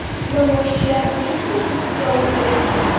Namoyishchilarning hech biri hibsga olinmagan.